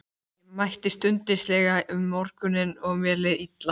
Ég mætti stundvíslega um morguninn og mér leið illa.